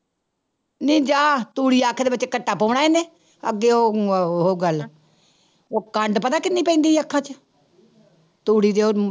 ਨੀ ਜਾ ਤੂੜੀ ਅੱਖ ਦੇ ਵਿੱਚ ਘੱਟਾ ਪਾਉਣਾ ਇਹਨੇ, ਅੱਗੇ ਉਹ ਉਹ ਗੱਲ ਉਹ ਕੰਡ ਪਤਾ ਕਿੰਨੀ ਪੈਂਦੀ ਅੱਖਾਂ ਚ ਤੂੜੀ ਦੀ ਉਹ